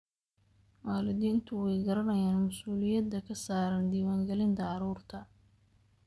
Waalidiintu way garanayaan mas'uuliyadda ka saaran diiwaangelinta carruurta.